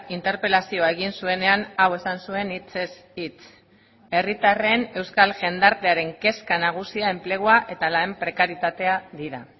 interpelazioa egin zuenean hau esan zuen hitzez hitz herritarren euskal jendartearen kezka nagusia enplegua eta lan prekarietatea dira